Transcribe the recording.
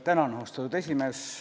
Tänan, austatud esimees!